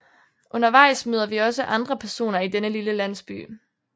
Undervejs møder vi også andre personer i den lille landsby